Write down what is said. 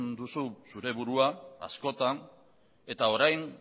duzu zure burua askotan eta orain